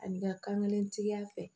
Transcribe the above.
Ani ka kan kelentigiya fɛ